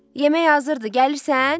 Yemək hazırdır, gəlirsən?